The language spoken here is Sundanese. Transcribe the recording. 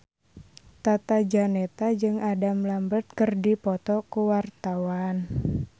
Tata Janeta jeung Adam Lambert keur dipoto ku wartawan